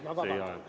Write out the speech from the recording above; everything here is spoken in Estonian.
Ma vabandan!